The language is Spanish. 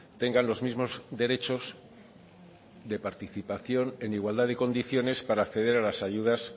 tengan los mismos derechos de participación en igualdad de condiciones para acceder a las ayudas